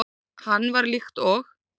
Hann var líkt og